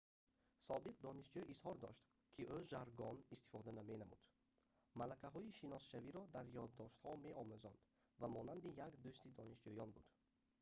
собиқ донишҷӯ изҳор дошт ки ӯ жаргон истифода менамуд малакаҳои шиносшавиро дар ёддоштҳо меомӯзонд ва монанди як дӯсти донишҷӯён буд